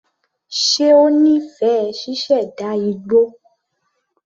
Ṣe ó nífẹ̀ẹ́ ṣíṣẹ̀dá igbó?